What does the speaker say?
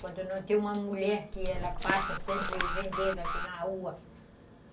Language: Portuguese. Quando não tem uma mulher que ela passa sempre vendendo aqui na rua.